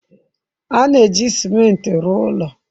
A na-eji ciment rụọ ụlọ.